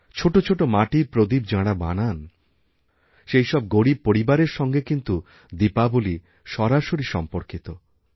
ছোটো ছোটো মাটির প্রদীপযাঁরা বানান সেই সব গরীব পরিবারের সঙ্গে কিন্তু দীপাবলী সরাসরি সম্পর্কিত